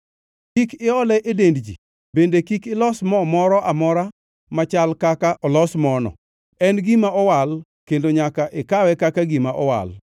Kik iole e dend ji bende kik ilos mo moro amora machal kaka olos mono. En gima owal kendo nyaka ikawe kaka gima owal.